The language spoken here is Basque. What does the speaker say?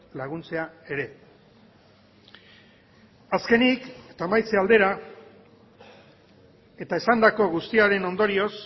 laguntzea ere azkenik eta amaitze aldera eta esandako guztiaren ondorioz